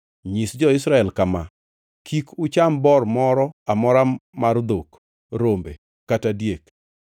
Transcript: “Nyis jo-Israel kama: ‘Kik ucham bor moro amora mar dhok, rombe, kata diek.